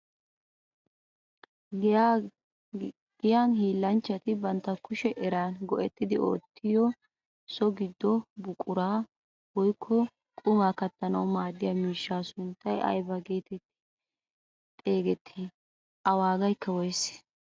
Giyaan hillanchchati bantta kushiyaa eraa go"etti oottiyo so giddo buquraa woykko qumaa kattanwu maadiyaa miishshaa sunttay aybaa getetti xeegettii? A waagaykka woysee?